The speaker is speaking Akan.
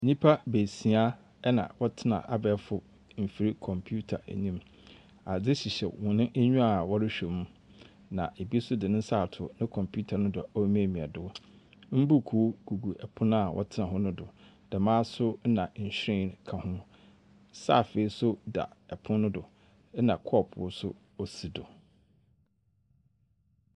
Nyimpa beesia na wɔtsena abaɛfor mfir computer enyim, adze hyehyɛ hɔn enyiwa wɔrohwɛ mu, na bi so dze ne nsa ato no kɔmpiwta do remiamia do. Mbuukuu gugu pon a wɔtsena ho no do, dɛmara so na nhyiren ka ho. Saafee so da pon no do na kɔɔpow so osi do.